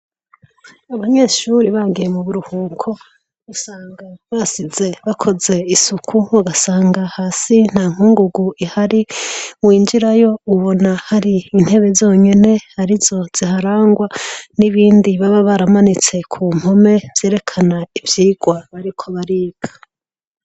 Abanyeshure bagiye mu buruhuko, usanga basize bakoze isuku ugasanga hasi nta nkungugu ihari. Winjirayo ubona hari intebe zonyene arizo ziharangwa n'ibindi baba baramanitse ku mpome vyerekana ivyigwa baba bariko bariga.